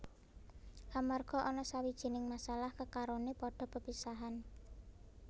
Amarga ana sawijining masalah kekarone padha pepisahan